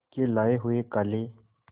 के लाए हुए काले